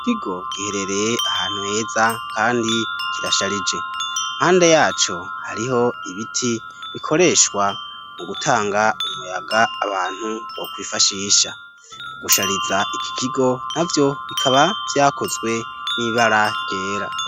Ikigo giherereye ahantu heza ,kandi kirasharije ,mpande yaco hariho ibiti bikoreshwa mu gutanga umuyaga abantu wo kubifashisha, gushariza iki kigo navyo bikaba vyakozwe nibara ryera.